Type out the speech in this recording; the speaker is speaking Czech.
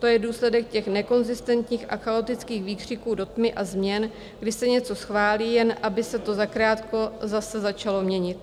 To je důsledek těch nekonzistentních a chaotických výkřiků do tmy a změn, kdy se něco schválí, jen aby se to zakrátko zase začalo měnit.